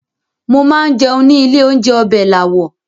Mo máa ń jẹun ní ilé-oúnjẹ Ọbẹ̀làwọ̀.